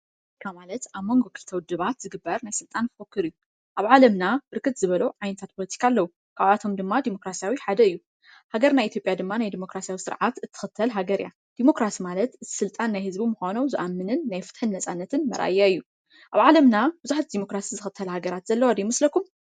ፖለቲካ ማለት ኣብ መንጎ ክልተ ውድባት ዝግበር ናይ ስልጣን ፉኩክር እዩ፡፡ ኣብ ዓለምና ብርክት ዝበሎ ዓይነታት ፖሎቲካ ኣለዉ፡፡ ካብኣቶም ድማ ዲሞክራስያዊ ሓደ እዩ፡፡ ሃገር ናይ ኢትዮጵያ ድማ ናይ ዲሞክራስያዊ ስርዓት እትኽተል ሃገር እያ፡፡ ዲሞክራሲ ማለት ስልጣን ናይ ህዝቢ ምዃኑ ዝኣምንን ናይ ፍትሕን ነፃነትን መርኣያ እዩ፡፡ ኣብ ዓለምና ብዙሓት ዲሞክራሲ ዝኽተላ ሃገራት ዘለዋ ዶ ይመስለኩም?